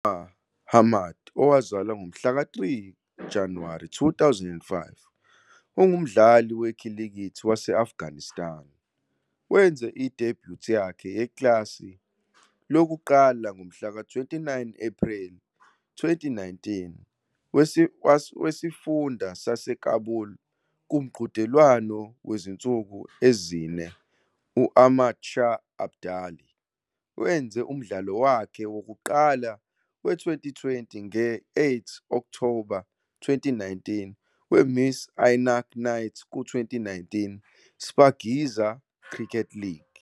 UNoor Ahmad, owazalwa ngomhlaka 3 Januwari 2005, ungumdlali wekhilikithi wase-Afghanistan. Wenze i-debut yakhe yeklasi lokuqala ngomhlaka 29 Ephreli 2019, weSifunda saseKabul kuMqhudelwano wezinsuku ezi-4 u-Ahmad Shah Abdali. Wenze umdlalo wakhe wokuqala we-Twenty20 ngo-8 Okthoba 2019, weMis Ainak Knights ku- 2019 Shpageeza Cricket League.